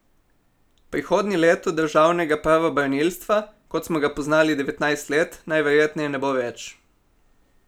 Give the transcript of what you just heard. Prihodnje leto državnega pravobranilstva, kot smo ga poznali devetnajst let, najverjetneje ne bo več.